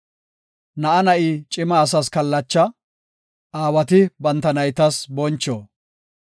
Na7a na7i cima asas kallacha; aawati banta naytas boncho.